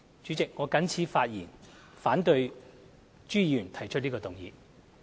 主席，我謹此陳辭，反對朱議員提出的議案。